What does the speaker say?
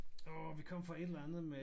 Åh vi kom fra et eller andet med